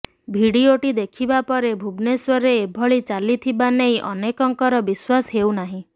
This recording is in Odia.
ଭିଡିଓଟି ଦେଖିବା ପରେ ଭୁବନେଶ୍ବରରେ ଏଭଳି ଚାଲିଥିବା ନେଇ ଅନେକଙ୍କର ବିଶ୍ବାସ ହେଉ ନାହିଁ